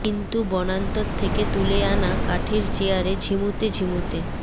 কিন্তু বনান্তর থেকে তুলে আনা কাঠের চেয়ারে ঝিমুতে ঝিমুতে